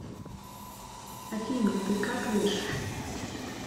афина ты какаешь